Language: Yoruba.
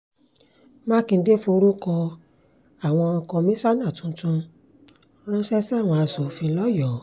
mákindé forúkọ àwọn kọmíṣánná tuntun ránṣẹ́ sáwọn asòfin lọ́yọ́ọ́